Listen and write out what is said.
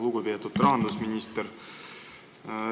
Lugupeetud rahandusminister!